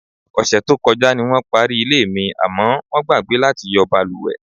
Ò̩sè̩ tó ko̩já ni wó̩n parí ilé mi, àmó̩ wó̩n gbàgbé láti yo̩ balùwè.